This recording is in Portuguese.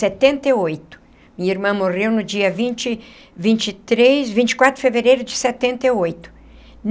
Setenta e oito minha irmã morreu no dia vinte vinte e três vinte e quatro de fevereiro de setenta e oito.